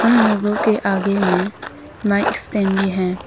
इन लोगों के आगे में माइक स्टैंड भी है।